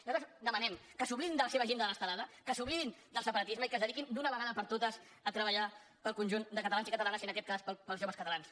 nosaltres demanem que s’oblidin de la seva agenda de l’estelada que s’oblidin del separatisme i que es dediquin d’una vegada per totes a treballar per al conjunt de catalans i catalanes i en aquest cas per als joves catalans